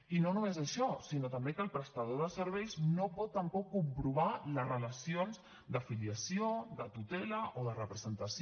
i no només això sinó també que el prestador de serveis no pot tampoc comprovar les relacions de filiació de tutela o de representació